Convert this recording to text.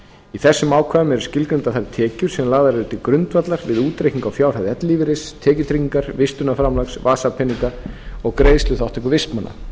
í þessum ákvæðum eru skilgreindar þær tekjur sem lagðar eru til grundvallar við útreikninga á fjárhæð ellilífeyris tekjutryggingar vistunarframlags vasapeninga og greiðsluþátttöku vistmanna